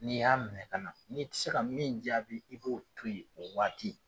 N'i y'a minɛ kana, n'i ti se ka min jaabi i b'o to yen o waati.